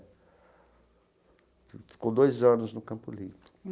Ficou dois anos no Campo Limpo.